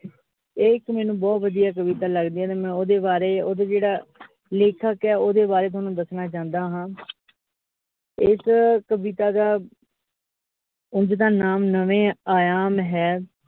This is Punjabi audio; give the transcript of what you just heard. ਇਹ ਇਕ ਮੈਨੂੰ ਬਹੁਤ ਵਧੀਆ ਕਵਿਤਾ ਲੱਗਦੀ ਐ, ਤੇ ਮੈਂ ਓਹਦੇ ਬਾਰੇ ਓਹਦਾ ਜਿਹੜਾ ਲੇਖਕ ਆ ਓਹਦੇ ਬਾਰੇ ਤੁਹਾਨੂੰ ਦੱਸਣਾ ਚਾਉਂਦਾ ਹਾਂ ਇਸ ਕਵਿਤਾ ਦਾ ਉਂਝ ਤਾਂ ਨਾਮ ਨਵੇਂ ਆਯਾਮ ਹੈ।